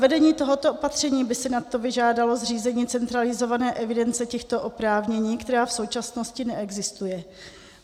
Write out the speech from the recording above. Zavedení tohoto opatření by si nad to vyžádalo zřízení centralizované evidence těchto oprávnění, která v současnosti neexistuje.